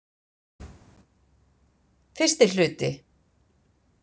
Fyrsti hluti